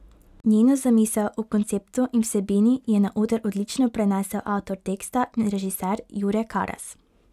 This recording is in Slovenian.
Njeno zamisel o konceptu in vsebini je na oder odlično prenesel avtor teksta in režiser Jure Karas.